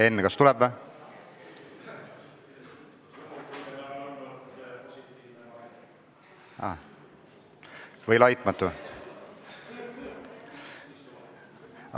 Enn, kas tuleb või?